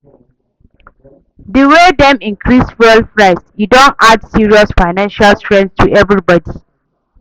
Di way dem increase fuel price, e don add serious financial strain to everybodi.